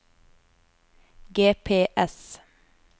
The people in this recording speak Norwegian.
GPS